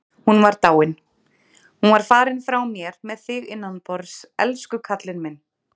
Hún var dáin. hún var farin frá mér með þig innanborðs, elsku kallinn minn.